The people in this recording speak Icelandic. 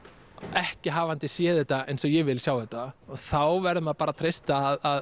ekki hafandi séð þetta eins og ég vil sjá þetta og þá verður maður bara að treysta að